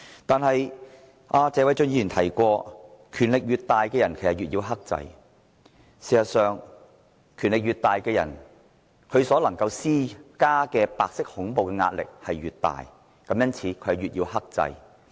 但是，謝偉俊議員說過，權力越大的人，越要克制，事實上，權力越大的人，所能施加的白色恐怖壓力越大，因此越要克制。